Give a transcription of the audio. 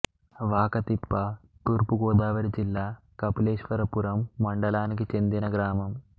వాకతిప్ప తూర్పు గోదావరి జిల్లా కపిలేశ్వరపురం మండలానికి చెందిన గ్రామం